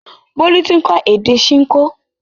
Bólú ti ń kọ́ èdè Ṣinkó